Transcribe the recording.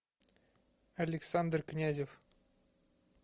александр князев